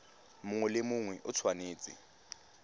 mongwe le mongwe o tshwanetse